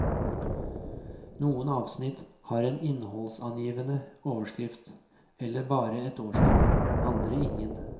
Noen avsnitt har en innholdsangivende overskrift eller bare et årstall, andre ingen.